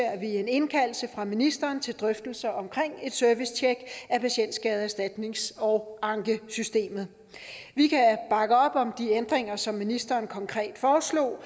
vi en indkaldelse fra ministeren til drøftelser omkring et servicetjek af patientskadeerstatnings og ankesystemet vi kan bakke op om de ændringer som ministeren konkret foreslog